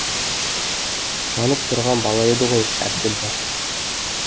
жанып тұрған бала еді ғой әбділда